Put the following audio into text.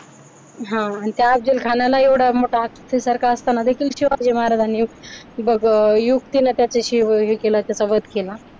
हा आणि त्या अफजल खानाला ही मोठा हत्ती सारखा असताना देखील शिवाजी महाराजांनी युक्तीने त्याच्याशी हे केला त्याचा वध केला